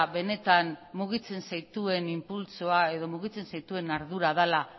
benetan mugitzen zaituen inpultsoa edo mugitzen zaituen ardura dela